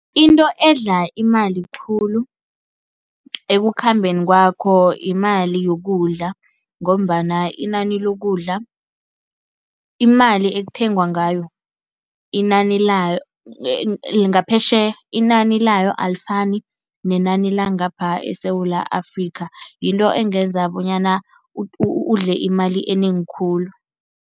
Into edla imali khulu ekukhambeni kwakho yimali yokudla ngombana inani lokudla, imali ekuthengwa ngayo, inani layo ngaphetjheya inani layo alifani nenani langapha eSewula Afrika, yinto engenza bonyana udle imali enengi khulu.